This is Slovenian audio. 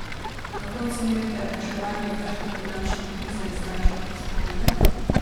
Kako ocenjujete reševanje grške finančne krize z zdajšnje perspektive?